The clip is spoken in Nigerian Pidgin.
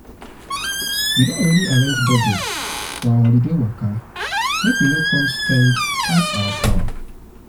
we don already arrange budget arrange budget for our holiday waka make we no go come spend pass our power.